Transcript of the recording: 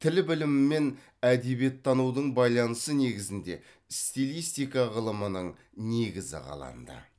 тіл білімі мен әдебиеттанудың байланысы негізінде стилистика ғылымының негізі қаланды